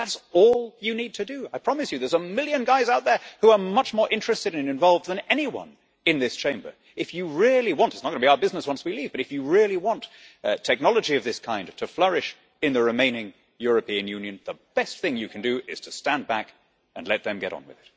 That is all you need to do. I promise you that there are a million guys out there who are much more interested and involved than anyone in this Chamber. It is not going to be our business once we leave, but if you really want technology of this kind to flourish in the remaining European Union, the best thing you can do is to stand back and let them get on with it.